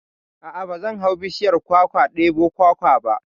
A'a ba zan hau bishiyar kwakwa ɗebo kwakwa ba